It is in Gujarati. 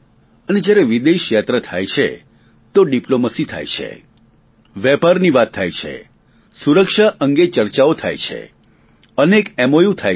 અને જ્યારે વિદેશ યાત્રા થાય છે તો ડીપ્લોમસી થાય છે વેપારની વાત થાય છે સુરક્ષા અંગે ચર્ચાઓ થાય છે અનેક મોઉ થાય છે